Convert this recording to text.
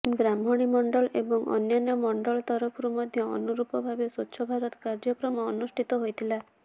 ବ୍ରାହ୍ମଣୀ ମଣ୍ଡଳ ଏବଂ ଅନ୍ୟାନ୍ୟ ମଣ୍ଡଳ ତରଫରୁ ମଧ୍ୟ ଅନୁରୂପ ଭାବେ ସ୍ୱଚ୍ଛଭାରତ କାର୍ଯ୍ୟକ୍ରମ ଅନୁଷ୍ଠିତ ହୋଇଥିଲା